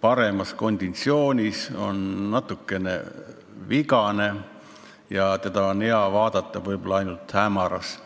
paremas konditsioonis, on natukene vigane ja teda on hea vaadata võib-olla ainult hämaras.